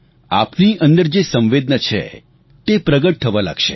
આપની અંદરની જે સંવેદના છે તે પ્રગટ થવા લાગશે